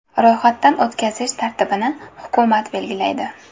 Ro‘yxatdan o‘tkazish tartibini hukumat belgilaydi.